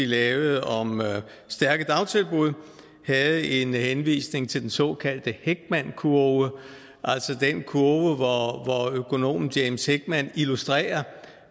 lavede om stærke dagtilbud havde en henvisning til den såkaldte heckmankurve altså den kurve hvor økonomen james heckman illustrerer